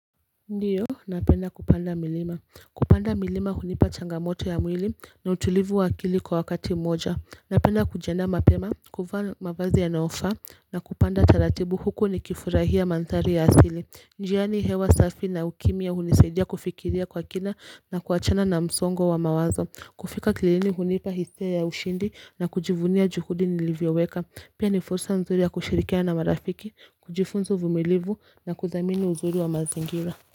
Ndiyo napenda kupanda milima kupanda milima hunipa changamoto ya mwili na utulivu wa akili kwa wakati mmoja napenda kujiandaa mapema kuvaa mavazi yanayofaa na kupanda taratibu huku nikifurahia mandhari ya asili njiani hewa safi na ukimya hunisaidia kufikiria kwa kina na kuachana na msongo wa mawazo kufika kilini hunipa hisia ya ushindi na kujivunia juhudi nilivyoweka Pia ni fursa nzuri ya kushirikiana na marafiki kujifunza uvumilivu na kudhamini uzuri wa mazingira.